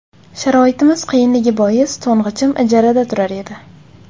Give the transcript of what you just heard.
Sharoitimiz qiyinligi bois to‘ng‘ichim ijarada turar edi.